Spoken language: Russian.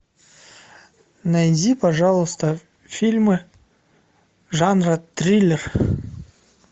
найди пожалуйста фильмы жанра триллер